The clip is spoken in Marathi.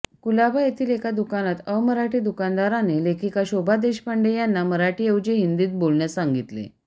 कुलाबा येथील एका दुकानात अमराठी दुकानदाराने लेखिका शोभा देशपांडे यांना मराठीऐवजी हिंदीत बोलण्यास सांगितले